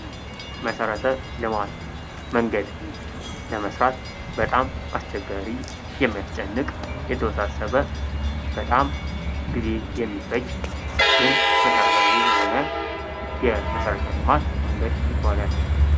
መሠረተ ልማት፦ መንገድ ለመስራት በጣም አስቸጋሪ የሚያስጨንቅ የተወሳሰበ በጣም ጊዜ የሚፈጅ ግን መሠረታዊ የሆነ የመሠረተ ልማት መንገድ ይባላል።